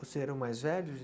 Você era o mais velho?